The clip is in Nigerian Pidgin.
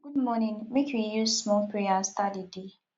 good morning make we use small prayer start di day